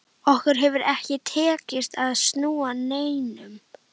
Okkur hefur ekki tekist að snúa neinum.